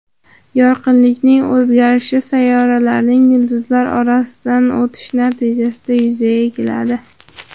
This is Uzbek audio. Yorqinlikning o‘zgarishi sayyoralarning yulduzlar orasidan o‘tishi natijasida yuzaga keladi.